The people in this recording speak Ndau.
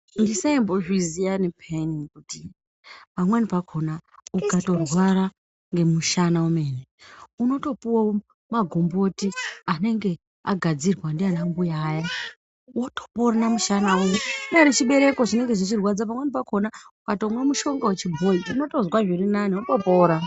Andisaimbozviziyaini kuti pamweni pakona ukandorwarw ngemushana wemene unotopuwawo magomboti anenge agadzirwa ndiana mbuya aya wotopona mushana uya ,chinyari chibereko pamweni pakona ukamwa mushonga wechibhoyi unotopora.